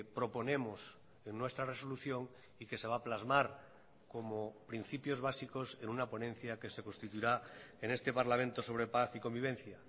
proponemos en nuestra resolución y que se va a plasmar como principios básicos en una ponencia que se constituirá en este parlamento sobre paz y convivencia